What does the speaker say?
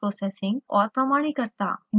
और प्रमाणिकता